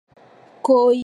Koyi azo mela mayi.